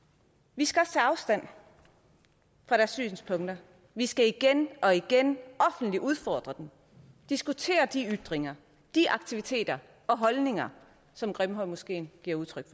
vi skal også tage afstand fra deres synspunkter vi skal igen og igen offentligt udfordre dem og diskutere de ytringer aktiviteter og holdninger som grimhøjmoskeen giver udtryk